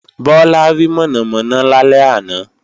Bọ́lá rí mọ̀nàmọ̀nà lálẹ́ àná